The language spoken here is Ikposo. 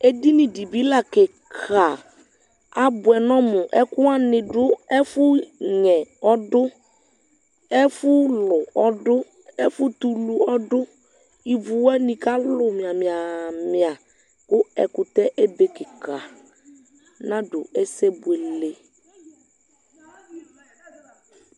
Ɛdini dibi la kikaabuɛ nɔmu ɛku wani du ɛfu nyɛ du ɛfulu ɔduɛfu tulu ɔduivu wani kalu mia miaa míaku ɛkutɛɛ abe kikanadu ɛsɛ buele